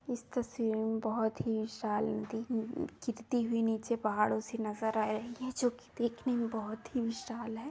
इस तस्वीर में बहुत ही विशाल नदी गिरती हुई नीचे पहाड़ो से नज़र आ रही है जो कि देखने में बहुत ही विशाल है।